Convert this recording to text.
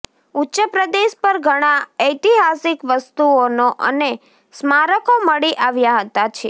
ઉચ્ચપ્રદેશ પર ઘણા ઐતિહાસિક વસ્તુઓનો અને સ્મારકો મળી આવ્યા હતા છે